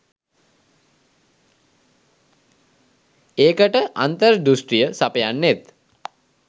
ඒකට අන්තර්දෘෂ්ටිය සපයන්නෙත්